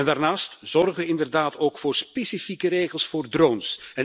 Daarnaast zorgen we inderdaad ook voor specifieke regels voor drones.